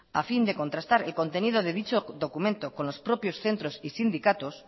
a fin de contrastar el contenido de dicho documento con los propios centros y sindicatos